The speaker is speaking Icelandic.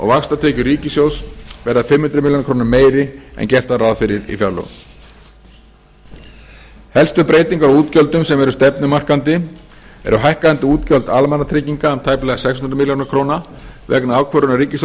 vaxtatekjur ríkissjóðs verða fimm hundruð ár meiri en gert var ráð fyrir í fjárlögum helstu breytingar á útgjöldum sem eru stefnumarkandi eru hækkandi útgjöld almannatrygginga um tæplega sex hundruð ár vegna ákvörðunar ríkisstjórnarinnar